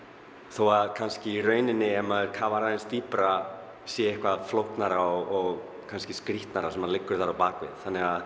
þó að kannski í rauninni ef maður kafar aðeins dýpra sé eitthvað flóknara og skrítnara sem liggur þar að baki þannig að